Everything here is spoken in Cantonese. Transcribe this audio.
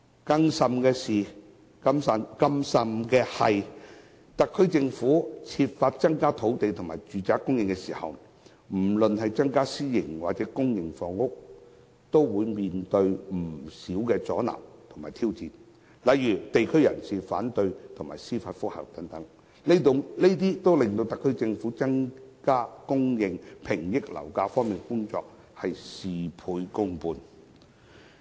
更甚的是，特區政府在增加建屋土地和公私營住宅單位時，往往面對不少阻撓和挑戰，例如地區人士反對及提出司法覆核等，令特區政府在增加住宅單位供應、遏抑樓價的工作事倍功半。